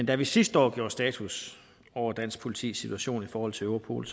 da vi sidste år gjorde status over dansk politis situation i forhold til europol